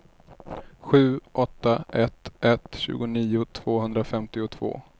sju åtta ett ett tjugonio tvåhundrafemtiotvå